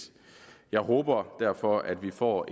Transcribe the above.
jeg håber derfor at vi får